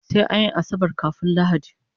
Sai anyi asabar kafun lahadi